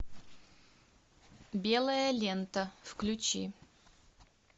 белая лента включи